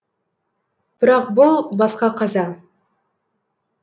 бірақ бұл басқа қаза